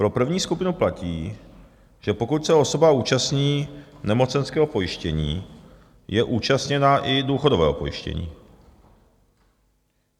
Pro první skupinu platí, že pokud se osoba účastní nemocenského pojištění, je účastněna i důchodového pojištění.